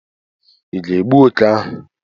Ị ga-egbu oké ahụ?